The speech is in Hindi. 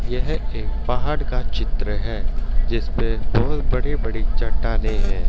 यह एक पहाड़ का चित्र है जिसपे बहोत बड़ी बड़ी चट्टानें है।